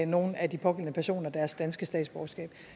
nogle af de pågældende personer deres danske statsborgerskab